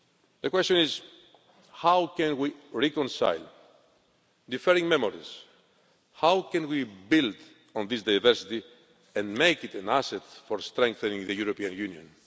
The question is how can we reconcile differing memories, how can we build on this diversity and make it an asset for strengthening the European Union?